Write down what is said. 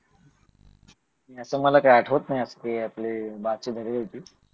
आता मला काही आठवत नाही आपले बाकी बरे होते